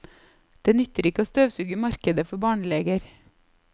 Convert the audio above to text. Det nytter ikke å støvsuge markedet for barneleger.